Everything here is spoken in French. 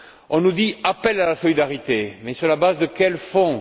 On nous dit appel à la solidarité, mais sur la base de quels fonds?